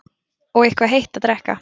Og eitthvað heitt að drekka.